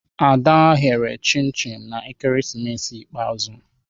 Ada ghere chim-chim na ekeresimesi ikpeazụ.